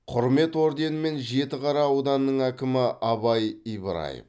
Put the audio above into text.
құрмет орденімен жітіқара ауданының әкімі абай ибраев